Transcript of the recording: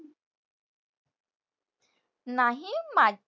नाही.